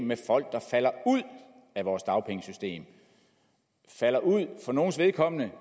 med folk der falder ud af vores dagpengesystem de falder ud og for nogles vedkommende